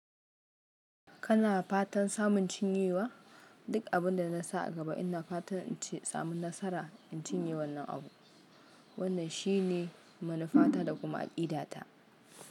Kana fatan samun cinyewa? Duk abin da na sa a gaba ina fatan in samu nasara in cinye wannan abu. Wannan shine manufata da kuma aƙidata.